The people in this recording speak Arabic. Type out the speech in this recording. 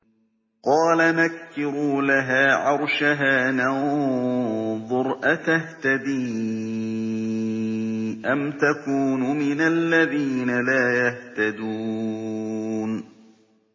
قَالَ نَكِّرُوا لَهَا عَرْشَهَا نَنظُرْ أَتَهْتَدِي أَمْ تَكُونُ مِنَ الَّذِينَ لَا يَهْتَدُونَ